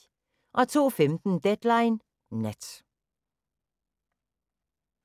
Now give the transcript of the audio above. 02:15: Deadline Nat